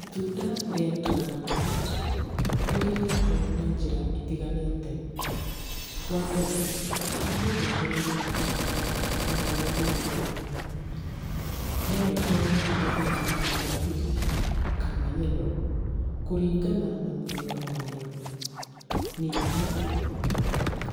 Itunda rĩa dragon fruit, nĩ rĩrĩagwo na njĩra itiganĩte. Wambere, mũndũ agĩrĩirwo nĩ gũcagũra itunda rĩrĩa rĩĩru wega. Norĩkorwo rĩrĩ rĩa rangi wa pink, kana yellow, kũringana na mũthemba warĩo. Ningĩ,